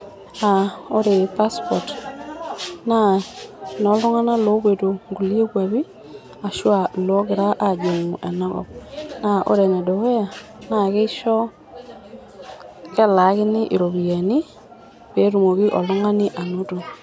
Ore passport naa enooltung'anak loopuito nkulie kuapi ashua iloogira aajing'u ena kop. Naa ore enedukuya naa keisho kelaakini iropiyiani peetumoki oltung'ani anoto.